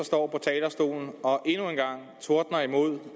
står på talerstolen og endnu en gang tordner imod